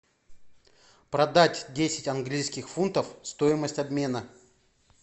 продать десять английских фунтов стоимость обмена